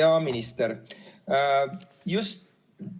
Hea minister!